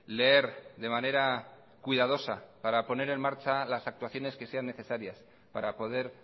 leer de manera cuidadosa para poner en marcha las actuaciones que sean necesarias para poder